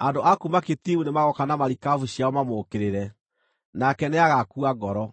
Andũ a kuuma Kitimu nĩmagooka na marikabu ciao mamũũkĩrĩre, nake nĩagaakua ngoro.